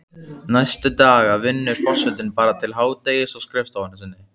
Næstu daga vinnur forsetinn bara til hádegis á skrifstofunni sinni.